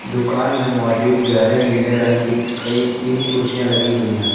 दुकान में मौजूद गहरे नीले रंग की कई तीन कुर्सियां लगी हुई है।